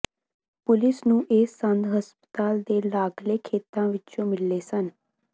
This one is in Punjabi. ਪੁਲਿਸ ਨੂੰ ਇਹ ਸੰਦ ਹਸਪਤਾਲ ਦੇ ਲਾਗਲੇ ਖੇਤਾਂ ਵਿਚੋਂ ਮਿਲੇ ਸਨ